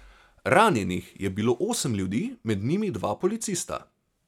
Ranjenih je bilo osem ljudi, med njimi dva policista.